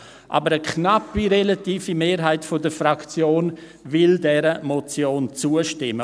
Eine knappe relative Mehrheit der Fraktion will der Motion aber zustimmen.